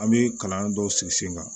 An bɛ kalan dɔw sigi sen kan